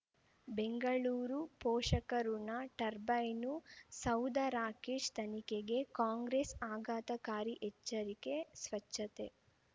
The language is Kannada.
ಬೆಂಗಳೂರು ಪೋಷಕಋಣ ಟರ್ಬೈನು ಸೌಧ ರಾಕೇಶ್ ತನಿಖೆಗೆ ಕಾಂಗ್ರೆಸ್ ಆಘಾತಕಾರಿ ಎಚ್ಚರಿಕೆ ಸ್ವಚ್ಛತೆ